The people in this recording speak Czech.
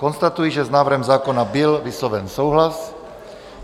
Konstatuji, že s návrhem zákona byl vysloven souhlas.